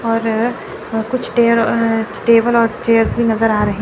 और कुछ ते टेयर अ टेबल और चेयर्स भी नजर आ रहे--